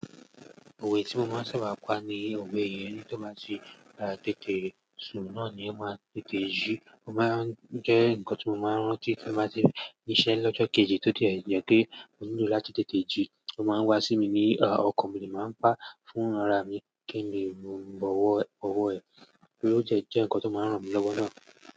Òwe tí mo máa ń ṣaaba pa ni òwe yẹn, ẹni ti o bá ti tètè sun náà ni ó máa tètè jí. Ó máa ń jẹ́ nǹkan tí mo máa ń rántí tí mo bá ti n ṣe iṣẹ́ lọ́jọ́ kejì tó dẹ̀ jẹ pe mó nílò láti tètè jí. Ó máa ń wá sí mi ní ọkàn, mo de máa ń pá fún ara mi kí n lè mú ọ̀wọ̀ ẹ, ó de jẹ́ nǹkan tí ó máa ń ràn mí lọ́wọ́ náà.